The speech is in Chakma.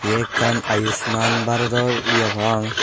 ye ekkan ayushman bharodor ye papang.